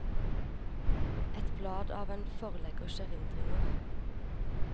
Et blad av en forleggers erindringer.